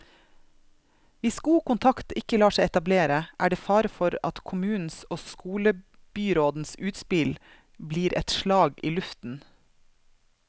Hvis god kontakt ikke lar seg etablere, er det fare for at kommunens og skolebyrådens utspill blir et slag i luften.